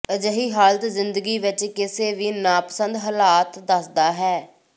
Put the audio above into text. ਅਜਿਹੀ ਹਾਲਤ ਜ਼ਿੰਦਗੀ ਵਿਚ ਕਿਸੇ ਵੀ ਨਾਪਸੰਦ ਹਾਲਾਤ ਦੱਸਦਾ ਹੈ